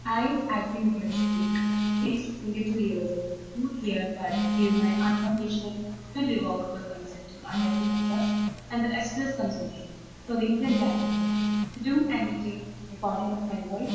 E, , age - twenty two years, do hereby give my , irrevocable consent to IIT Madras and consortium for Indian languages to use and retain the recording of my voice